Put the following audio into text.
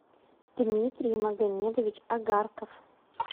дмитрий магомедович агарков